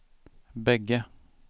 bägge